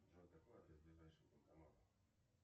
джой какой адрес ближайшего банкомата